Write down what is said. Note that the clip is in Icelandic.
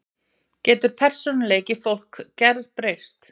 Getur persónuleiki fólks gerbreyst?